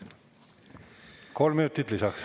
Kolm minutit lisaks.